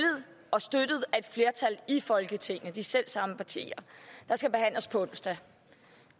og støttet af et flertal i folketinget bestående af de selv samme partier der skal behandles på onsdag